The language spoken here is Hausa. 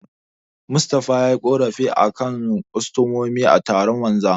Mustapha yayi ƙorafi a kan kostomomin a taron wanzamai.